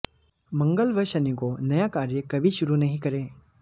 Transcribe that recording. मंगल व शनि को नया कार्य कभी शुरू नहीं करें